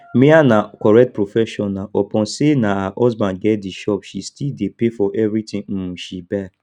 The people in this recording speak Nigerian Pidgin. mia na correct professional upon say na her husband get the shop she still dey pay for everything um she buy